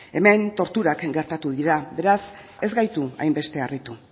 hemen torturak gertatu dira beraz ez gaitu hainbeste harritu